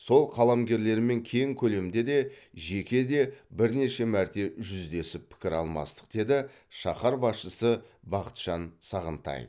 сол қаламгерлермен кең көлемде де жеке де бірнеше мәрте жүздесіп пікір алмастық деді шаһар басшысы бақытжан сағынтаев